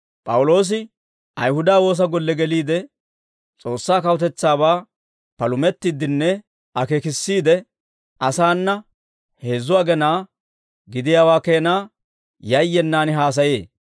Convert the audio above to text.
P'awuloosi Ayihuda woosa golle geliide, S'oossaa kawutetsaabaa palumettiiddinne akeekissiide, asaana heezzu agenaa gidiyaawaa keenaa yayyenaan haasayee.